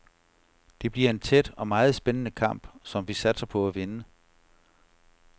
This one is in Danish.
Det bliver en tæt og meget spændende kamp, som vi satser på at vinde.